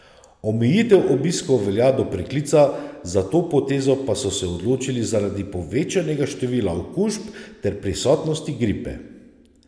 Omejitev obiskov velja do preklica, za to potezo pa so se odločili zaradi povečanega števila okužb ter prisotnosti gripe.